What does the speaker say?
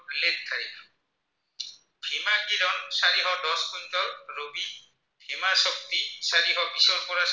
ৰবি, হিমাশক্তি চাৰিশ বিছৰ পৰা